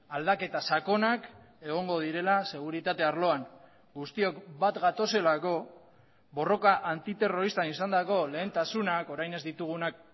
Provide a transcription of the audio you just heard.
aldaketa sakonak egongo direla seguritate arloan guztiok bat gatozelako borroka antiterroristan izandako lehentasunak orain ez ditugunak